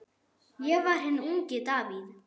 Ég var hinn ungi Davíð.